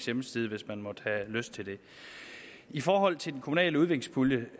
hjemmeside hvis man måtte have lyst til det i forhold til den kommunale udviklingspulje vil